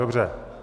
Dobře.